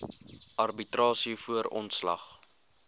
arbitrasie voor ontslag